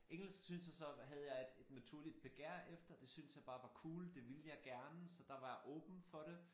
Engelsk synes jeg så havde jeg et et naturligt begær efter det synes jeg bare var cool det ville jeg gerne så der var jeg åben for det